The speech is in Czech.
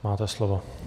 Máte slovo.